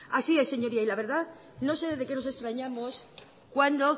así es señorías la verdad es que no sé de qué nos extrañamos cuando